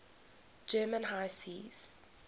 german high seas